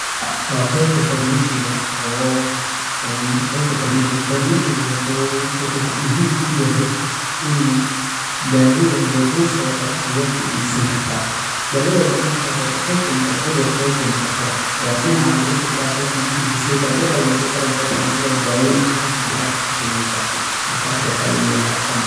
Waa qaybta farmishiga oo in qaybta farmishiga. Farmishiga wuxuu wuxu muhiim ku yahay in daawada loogu soo qoro ayaa ka iibsan kartaa daawadaas oo markaas aad qeybkeenu cudur qaybteyno qotaba din caana lagu soo diraa qeybta markii lagu soo baro waxu walba in qeybtaan u soo diray daawooyinka halkaana ayaa ka qaadanyiisa markaa waxaa liiyaa pharmacy.